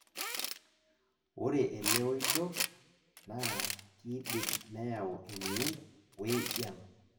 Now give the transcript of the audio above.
ore ele oito naa kidim neyau emion ,we jian